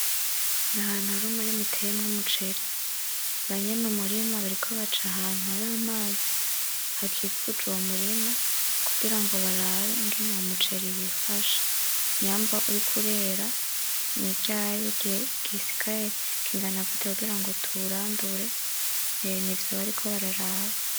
Ahantu hari umurima uteyemwo umuceri banyene umurima bariko baca ahantu har'amazi hakikujwe uwo murima kugira ngo barabe uwo muceri wifashe nyamba uriko urera niryari igihe gisigaye kigana gute kugira ngo tuwurandure nivyo bariko bararaba.